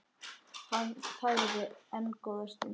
Hann þagði enn góða stund.